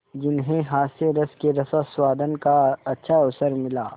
जिन्हें हास्यरस के रसास्वादन का अच्छा अवसर मिला